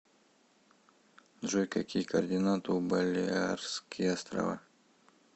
джой какие координаты у балеарские острова